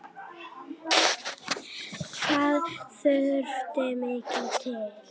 Hvað þurfti mikið til?